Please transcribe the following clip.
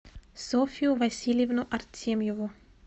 софью васильевну артемьеву